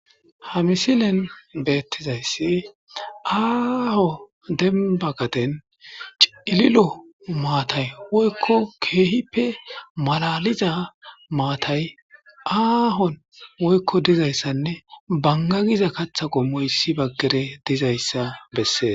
ha misilen beettizayssi aaho denba gaden cililo maatay woykko keehippe malaliza maatay aahon woykko dizayssanne bangagiza katha qom moyssi baggere dizayssa bessees